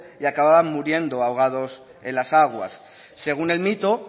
y acababan muriendo ahogados en las aguas según el mito